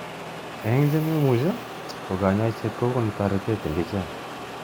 Eng chememuchi ko kanyoiset kokonu toretet eng ichek.